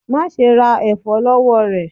Ma ṣe ra ẹfọ lọwọ rẹ!